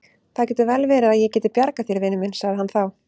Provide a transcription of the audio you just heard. Það getur vel verið að ég geti bjargað þér, vinur minn sagði hann þá.